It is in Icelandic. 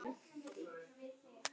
Einnig kista með byssum.